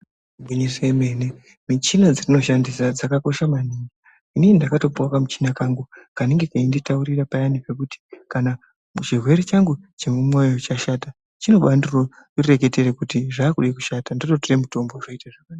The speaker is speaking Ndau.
Igwinyiso yemene muchina dzatinoshandisa dzakakosha maningi inini ndakatopiwa kamuchina kangu kanenge keinditaurira payani pekuti kana chirwere changu chemumoyo chashata chinobandireketere kuti zvakuda kushata ndototora mitombo zvoita zvakanaka.